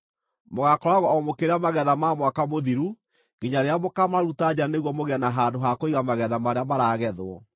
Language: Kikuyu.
Mũgaakoragwo o mũkĩrĩa magetha ma mwaka mũthiru nginya rĩrĩa mũkaamaruta nja nĩguo mũgĩe na handũ ha kũiga magetha marĩa maragethwo.